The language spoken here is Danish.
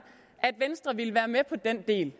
at venstre ville være med på den del